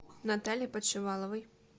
наталье подшиваловой